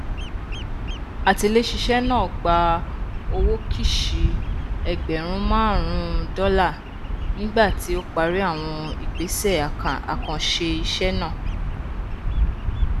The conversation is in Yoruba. atiléṣiṣẹ náà gba owó kìṣì ẹgbẹrún márùnún dọlá nígbà tí ó parí àwọn ìgbésẹ àkànṣe iṣẹ náà